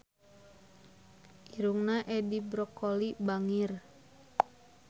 Irungna Edi Brokoli bangir